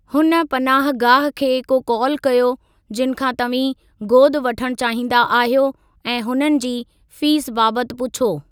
हुन पनाहगाह खे को कॉल कयो जिनि खां तव्हीं गोद वठणु चाहींदा आहियो ऐं हुननि जी फ़ीस बाबति पुछो।